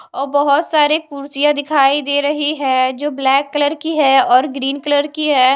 ओ बहोत सारे कुर्सियां दिखाई दे रही है जो ब्लैक कलर की है और ग्रीन कलर की है।